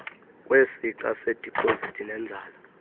kwesixa sedipozithi nenzala